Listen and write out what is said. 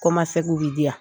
Kɔmasegin bɛ di yan